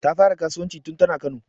Ta fara kasuwanci tun tana Kano